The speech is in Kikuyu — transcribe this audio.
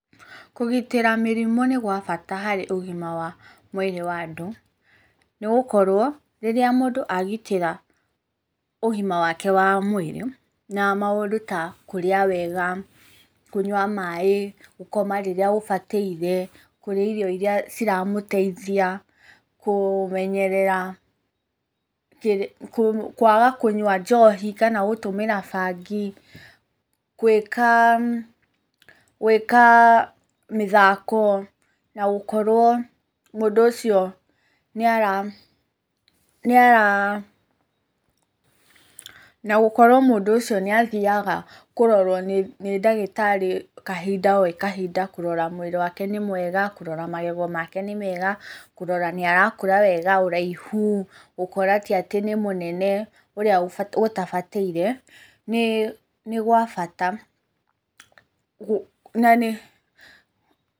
Kũgitĩra mĩrimũ nĩ gwa bata harĩ ũgima wa mwĩrĩ wa andũ. Nĩ gũkorwo rĩrĩa mũndũ agitĩra ũgima wake wa mwĩrĩ na maũndũ ta kũrĩa wega, kũnyua maĩ, gũkoma rĩrĩa ũbataire, kũrĩa irio irĩa iramũteithia, kũmenyerera kwaga kũnyua njohi kana gũtũmĩra bangi, gwĩka mĩthako na gũkorwo mũndũ ũcio nĩ athiaga kũrorwo nĩ ndagĩtarĩ kahinda gwĩ kahinda. Kũrora mwĩrĩ wake nĩ mwega, kũrora magego make nĩ mega, kũrora nĩ arakũra wega, ũraihu, gũkora ti atĩ nĩ mũnene ũrĩa gũtabatĩire nĩ gwa bata na nĩ...